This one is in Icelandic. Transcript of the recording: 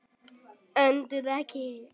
Önduðu ekki.